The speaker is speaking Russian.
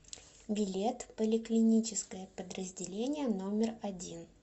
билет поликлиническое подразделение номер один